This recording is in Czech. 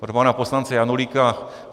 Pro pana poslance Janulíka.